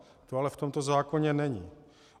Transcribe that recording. To ale v tomto zákoně není.